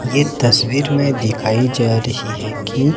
यह तस्वीर में दिखाई जा रही है कि--